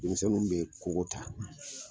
Denmisɛnnu bɛ koko ta